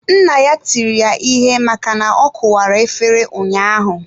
Nne ya tiri ya ihe maka na ọ kuwara efere ụnyaahụ.